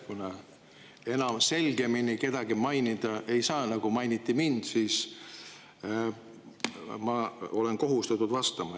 Kuna enam selgemini kedagi mainida ei saa, kui mainiti mind, siis ma olen kohustatud vastama.